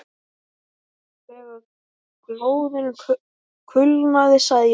Þegar glóðin kulnaði sagði Jón